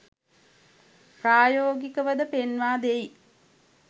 ප්‍රායෝගිකවද පෙන්වා දෙයි.